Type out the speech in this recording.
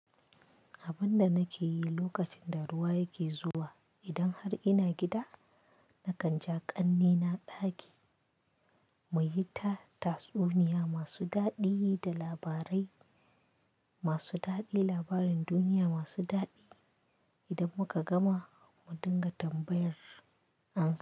Abin da nake yi lokacin da ruwa yake zuwa, idan har ina gida, nakan ja ƙanne na ɗaki mu yi ta tatsuniya masu daɗi da labarai masu daɗi, labarin duniya masu daɗi. Idan muka gama mu dinga tambayar ansa.